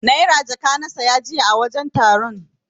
Naira jaka na siya jiya a wajen taron.